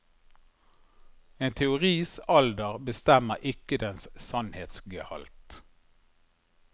En teoris alder bestemmer ikke dens sannhetsgehalt.